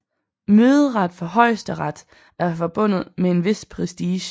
Møderet for Højesteret er forbundet med en vis prestige